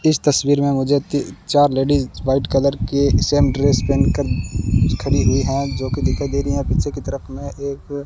इस तस्वीर मे मुझे ती चार लेडिस व्हाइट कलर के सेम ड्रेस पहन कर खड़ी हुई हैं जो की दिखाई दे रही हैं पीछे की तरफ में एक--